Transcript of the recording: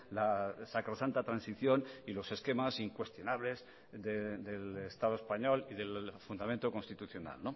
la sacrosanta transición y los esquemas incuestionables del estado español y del fundamento constitucional